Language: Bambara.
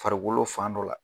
Farikolo fan dɔ la.